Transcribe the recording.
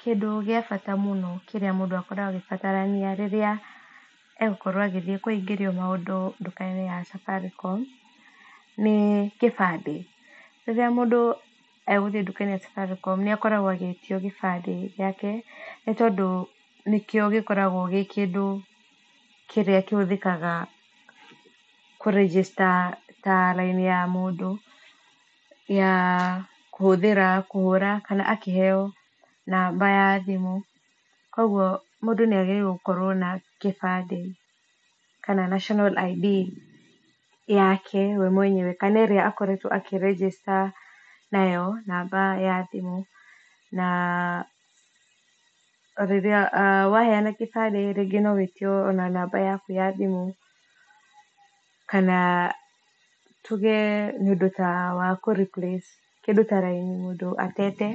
Kĩndũ gĩ a bata mũno kĩrĩa mũndũ akoragwo agĩbatarania rĩrĩa egukorwo agĩthiĩ kũhingĩrio maũndũ ndũka-inĩ ya Safaricom nĩ kĩbandĩ. Rĩrĩa mũndũ egũthiĩ ndũka-inĩ ya Safaricom nĩakoragwo agĩtio gĩbandĩ gĩake nĩ tondũ nĩkio gĩkoragwo gĩkĩndũ kĩrĩa kĩhũthĩkaga kũ register ta raini ya mũndũ ya kũhũthĩra kũhũra kana akĩheo namba ya thimũ kogũo mũndũ nĩagĩrĩirwo gũkorwo na gibandĩ kana national ID yake we mwenyewe kana ĩrĩa akoretwo akĩ register nayo namba ya thimũ na rĩrĩa waheana kĩbandĩ rĩngĩ no wĩtio ona namba yaku ya thimũ kana tũge nĩũndũ ta wa kũ replace kĩndũ ta raini nĩũndũ atete